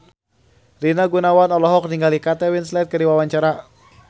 Rina Gunawan olohok ningali Kate Winslet keur diwawancara